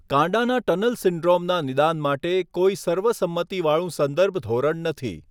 કાંડાના tunnel સિન્ડ્રોમના નિદાન માટે કોઈ સર્વસંમતિવાળું સંદર્ભ ધોરણ નથી.